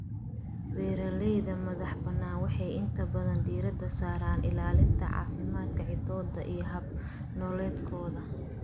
Beeralayda madaxa banaan waxay inta badan diiradda saaraan ilaalinta caafimaadka ciiddooda iyo hab-nololeedkooda.